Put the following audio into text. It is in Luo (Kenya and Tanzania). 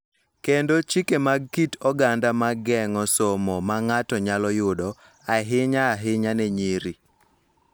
Kendo chike mag kit oganda ma geng�o somo ma ng�ato nyalo yudo, ahinya ahinya ne nyiri.